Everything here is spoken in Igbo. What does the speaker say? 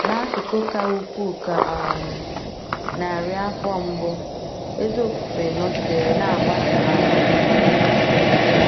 N’akụkụ ka ukwuu nke um narị afọ mbụ, ezi ofufe nọgidere na -- agbasa um.